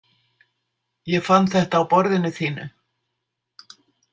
Ég fann þetta á borðinu þínu.